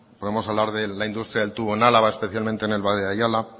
podemos hablar de la industria del tubo en álava especialmente en el valle de ayala